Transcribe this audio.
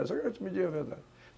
Só que eu quero que tu me diga a verdade.